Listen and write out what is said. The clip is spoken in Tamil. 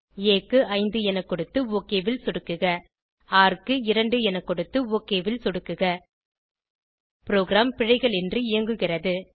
ஆ க்கு 5 என கொடுத்து ஒக் ல் சொடுக்குக ர் க்கு 2 என கொடுத்து ஒக் ல் சொடுக்குக ப்ரோகிராம் பிழைகளின்றி இயங்குகிறது